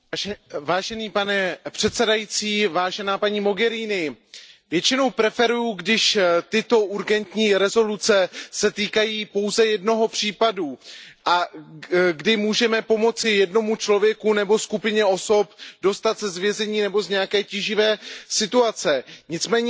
Pane předsedající, paní Mogheriniová, většinou preferuji, když tyto urgentní rezoluce se týkají pouze jednoho případu a kdy můžeme pomoci jednomu člověku nebo skupině osob dostat se z vězení nebo z nějaké tíživé situace. Nicméně situace